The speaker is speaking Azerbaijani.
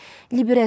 Libretto.